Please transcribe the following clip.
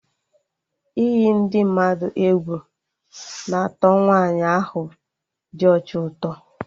Iyi ndị mmadụ egwu na atọ Nwaanyi ahụ dị ọcha ụtọ